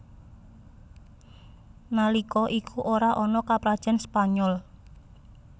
Nalika iku ora ana Kaprajan Spanyol